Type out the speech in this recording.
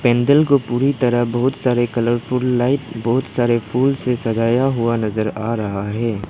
मंदिल को पूरी तरह बहुत सारे कलरफुल लाइट बहोत सारे फूल से सजाया हुआ नजर आ रहा है।